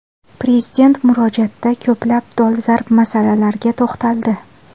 Prezident murojaatda ko‘plab dolzarb masalalarga to‘xtaldi.